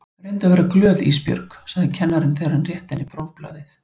Reyndu að vera glöð Ísbjörg, sagði kennarinn þegar hann rétti henni prófblaðið.